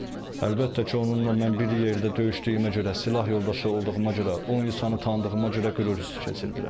Əlbəttə ki, onunla mən bir yerdə döyüşdüyümə görə, silah yoldaşı olduğuma görə, o insanı tanıdığıma görə qürur hiss etdirəm.